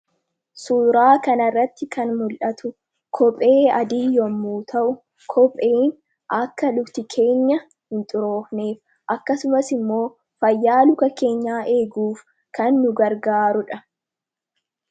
suuraa kanarratti kan mul'atu kophee adii yommuu ta'u kopheen akka lukti keenya hin xuroofneef; akkasumas immoo fayyaa luka keenyaa eeguuf kan nugargaaruudha